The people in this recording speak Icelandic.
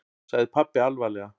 sagði pabbi alvarlega.